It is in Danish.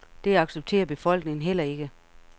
Det accepterer befolkningen heller ikke.